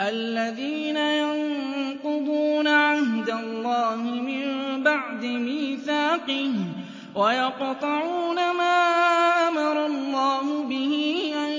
الَّذِينَ يَنقُضُونَ عَهْدَ اللَّهِ مِن بَعْدِ مِيثَاقِهِ وَيَقْطَعُونَ مَا أَمَرَ اللَّهُ بِهِ أَن